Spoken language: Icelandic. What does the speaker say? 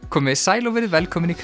komið sæl og verið velkomin í